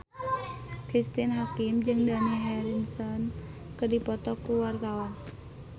Cristine Hakim jeung Dani Harrison keur dipoto ku wartawan